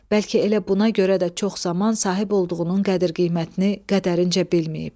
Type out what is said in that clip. Bəlkə elə buna görə də çox zaman sahib olduğunun qədir-qiymətini qədərincə bilməyib.